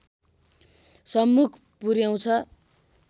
सम्मुख पुर्‍याउँछ